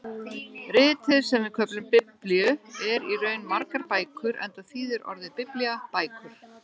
Ritið sem við köllum Biblíu er í raun margar bækur enda þýðir orðið biblía bækur.